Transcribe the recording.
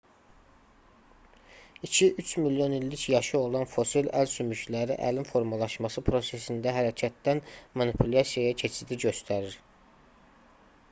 iki üç milyon illik yaşı olan fosil əl sümükləri əlin formalaşması prosesində hərəkətdən manipulyasiyaya keçidi göstərir